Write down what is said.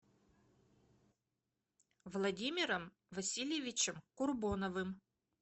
владимиром васильевичем курбоновым